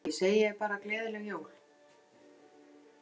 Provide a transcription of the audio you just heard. Því segi ég bara gleðileg jól.